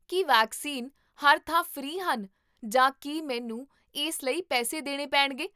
ਕੀ vaccine ਹਰ ਥਾਂ free ਹਨ ਜਾਂ ਕੀ ਮੈਨੂੰ ਇਸ ਲਈ ਪੈਸੇ ਦੇਣੇ ਪੇਣਗੇ?